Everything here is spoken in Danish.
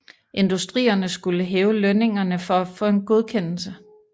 Industrierne skulle hæve lønningerne for at få en godkendelse